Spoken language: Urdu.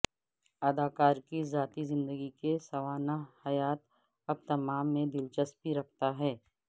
اداکار کی ذاتی زندگی کے سوانح حیات اب تمام میں دلچسپی رکھتا ہے